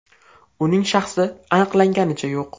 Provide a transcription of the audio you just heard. Uning shaxsi aniqlanganicha yo‘q.